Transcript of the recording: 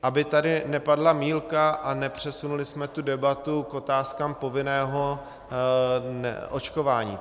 Aby tady nepadla mýlka a nepřesunuli jsme tu debatu k otázkám povinného očkování.